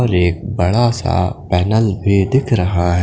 एक बड़ा सा पेनल भी दिख रहा है।